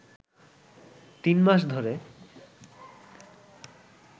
তিন মাস ধরে